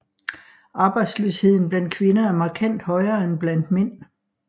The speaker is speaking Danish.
Arbejdsløsheden blandt kvinder er markant højere end blandt mænd